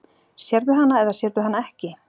Sérðu hana eða sérðu hana ekki?